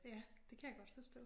Ja det kan jeg godt forstå